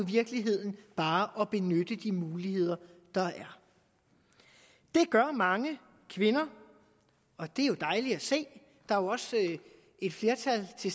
virkeligheden bare at benytte de muligheder der er det gør mange kvinder og det er dejligt at se der er jo også et flertal af de